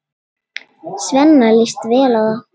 Svenna líst vel á það.